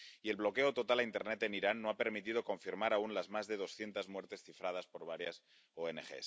Y el bloqueo total a internet en Irán no ha permitido confirmar aún las más de doscientas muertes cifradas por varias ONG.